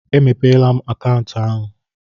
E mepeela m akaụntụ ahụ.